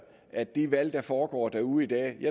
at de valg der foregår derude i dag